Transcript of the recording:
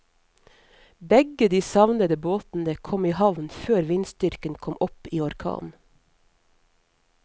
Begge de savnede båtene kom i havn før vindstyrken kom opp i orkan.